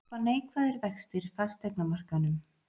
Hjálpa neikvæðir vextir fasteignamarkaðinum